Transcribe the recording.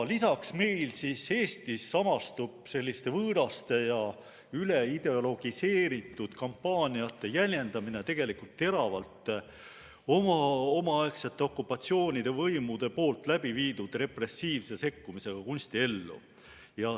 Lisaks samastub meil Eestis selliste võõraste ja üleideologiseeritud kampaaniate jäljendamine teravalt omaaegsete okupatsioonivõimude läbiviidud repressiivse sekkumisega kunstiellu.